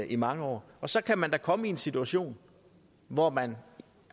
i mange år så kan man da komme i en situation hvor man